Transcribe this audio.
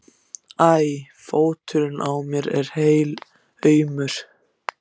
æ. fóturinn á mér er helaumur.